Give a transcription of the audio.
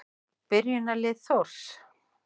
Byrjunarlið Þórs.